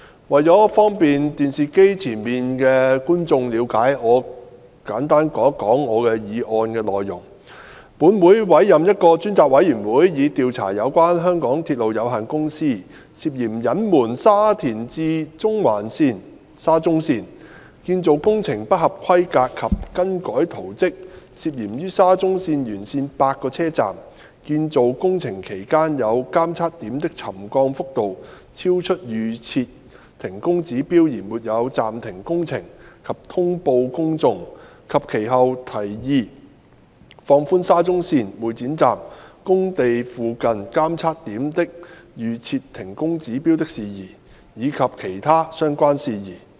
為方便電視機前的觀眾了解我的議案，我會簡述我的議案的內容：本會委任一個專責委員會，以調查有關香港鐵路有限公司涉嫌隱瞞沙田至中環線建造工程不合規格及更改圖則、涉嫌於沙中線沿線8個車站建造工程期間有監測點的沉降幅度超出預設停工指標而沒有暫停工程及通報公眾，及其後提議放寬沙中線會展站工地附近監測點的預設停工指標的事宜，以及其他相關事宜。